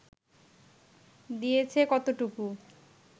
দিয়েছে কতটুকু